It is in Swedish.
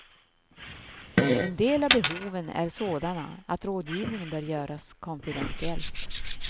En del av behoven är sådana att rådgivningen bör göras konfidentiellt.